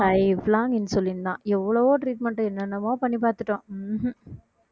lifelong insulin தான் எவ்வளவோ treatment என்னென்னமோ பண்ணி பார்த்துட்டோம் உம் உம்